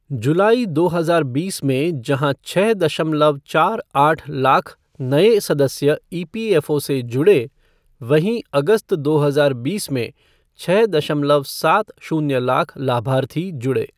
जुलाई दो हजार बीस में जहां छः दशमलव चार आठ लाख नए सदस्य ईपीएफ़ओ से जुड़े वहीं अगस्त दो हजार बीस में छः दशमलव सात शून्य लाख लाभार्थी जुड़े।